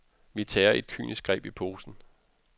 Vi tager et kynisk greb i posen.